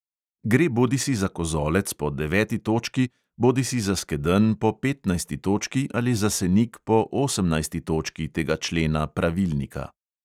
Gre bodisi za kozolec po deveti točki, bodisi za skedenj po petnajsti točki ali za senik po osemnajsti točki tega člena pravilnika.